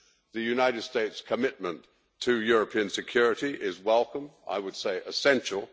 the United States' commitment to European security is welcome, and I would say essential